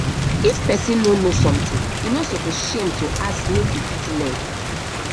if pesin no know something e no suppose shame to ask make you fit learn